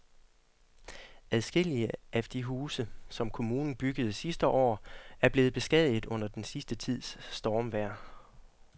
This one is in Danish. Adskillige af de huse, som kommunen byggede sidste år, er blevet beskadiget under den sidste tids stormvejr.